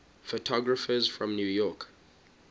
photographers from new york